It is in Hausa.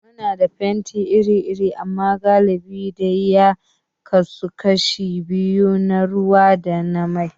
Muna da fenti iri-iri amma galibi dai ya kasu kashi biyu, na ruwa da na mai.